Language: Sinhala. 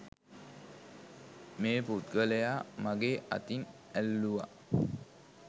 මේ පුද්ගලයා මගේ අතින් ඇල්ලුවා